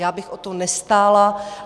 Já bych o to nestála.